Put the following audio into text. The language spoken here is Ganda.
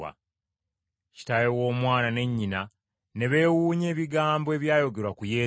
Kitaawe w’omwana ne nnyina ne beewuunya ebigambo ebyayogerwa ku Yesu.